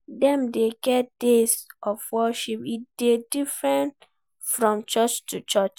Dem de get days of worship e de diferent from church to church